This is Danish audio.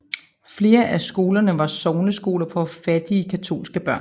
Flere af skolerne var sogneskoler for fattige katolske børn